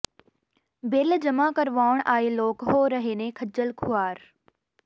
bill ਜਮ੍ਹਾਂ ਕਰਵਾਉਣ ਆਏ ਲੋਕ ਹੋ ਰਹੇ ਨੇ ਖੱਜਲ ਖੁਆਰ